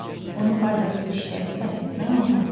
Onu faydasız işlərə sərf etmək olmaz.